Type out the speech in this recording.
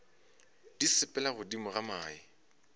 di sepela godimo ga mae